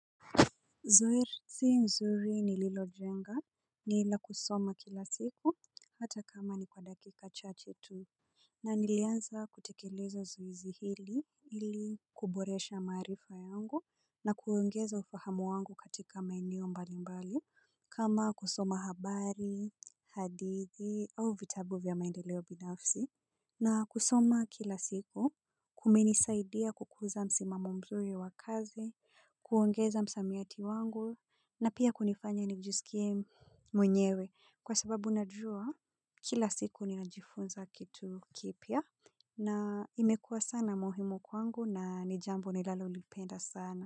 Zoezi nzuri ni lilo jenga ni ila kusoma kila siku hata kama ni kwa dakika cha chetu. Na nilianza kutekeleza zoezi hili ili kuboresha marifa yangu na kuongeza ufahamu wangu katika maeneo mbali mbali. Kama kusoma habari hadidi au vitabuvya maendeleo binafsi na kusoma kila siku kumenisaidia kukuza msimamomzuri wakazi, kuongeza msamiati wangu na pia kunifanya nijisikie mwenyewe kwa sababu najua kila siku ni najifunza kitu kipya na imekua sana muhimu kwangu na nijambo ni lalo lipenda sana.